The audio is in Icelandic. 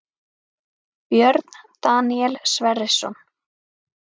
Björn Daníel Sverrisson